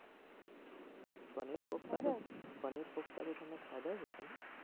પનીર કોફતા પનીર કોફતા તો તમે ખાધા જ હશે.